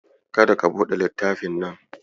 Kada ka buɗe littafin nan.